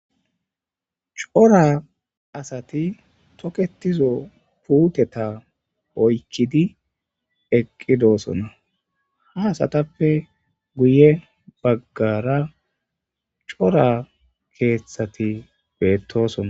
cora asati toketizo puuteta oykkidi eqqidoosona, ha asatappe guye baggara cora keeththati beettosona.